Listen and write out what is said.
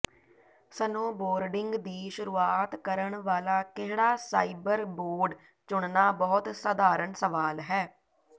snowboarding ਦੀ ਸ਼ੁਰੂਆਤ ਕਰਨ ਵਾਲਾ ਕਿਹੜਾ ਸਾਈਬਰ ਬੋਰਡ ਚੁਣਨਾ ਬਹੁਤ ਸਧਾਰਨ ਸਵਾਲ ਹੈ